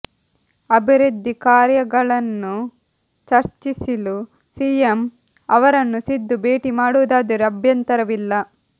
ಅಭಿವೃದ್ಧಿ ಕಾರ್ಯಗಳನ್ನು ಚರ್ಚಿಸಿಲು ಸಿಎಂ ಅವರನ್ನು ಸಿದ್ದು ಭೇಟಿ ಮಾಡುವುದಾದರೆ ಅಭ್ಯಂತರವಿಲ್ಲ